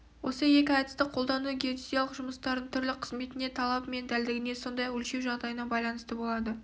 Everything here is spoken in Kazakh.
осы екі әдісті қолдану геодезиялық жұмыстардың түрлі қызметіне талабы мен дәлдігіне сондай-ақ өлшеу жағдайына байланысты болады